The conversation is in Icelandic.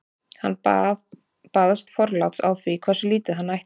hann baðst forláts á því hversu lítið hann ætti